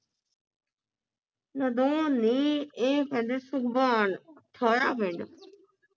ਨਦੌਣ ਨੀ ਇਹ ਪੈਂਦੇ ਸੁਭਾਨ ਸੋਹਰਾ ਪਿੰਡ